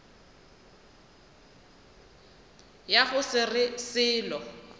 ya go se re selo